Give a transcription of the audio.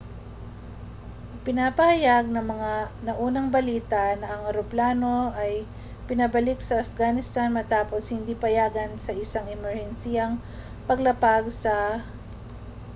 ipinapahayag ng mga naunang balita na ang eroplano ay pinabalik sa afghanistan matapos hindi payagan sa isang emerhensiyang paglapag sa ãœrã¼mqi